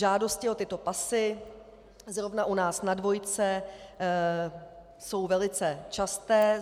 Žádosti o tyto pasy zrovna u nás na dvojce jsou velice časté.